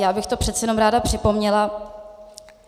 Já bych to přece jenom ráda připomněla.